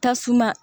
Tasuma